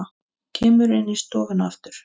Kemur inn í stofuna aftur.